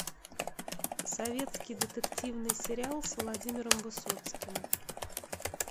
советский детективный сериал с владимиром высоцким